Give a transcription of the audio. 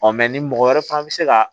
ni mɔgɔ wɛrɛ fana bɛ se ka